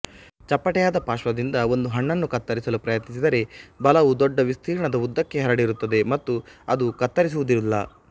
ಚಪ್ಪಟೆಯಾದ ಪಾರ್ಶ್ವದಿಂದ ಒಂದು ಹಣ್ಣನ್ನು ಕತ್ತರಿಸಲು ಪ್ರಯತ್ನಿಸಿದರೆ ಬಲವು ದೊಡ್ಡ ವಿಸ್ತೀರ್ಣದ ಉದ್ದಕ್ಕೆ ಹರಡಿರುತ್ತದೆ ಮತ್ತು ಅದು ಕತ್ತರಿಸುವುದಿಲ್ಲ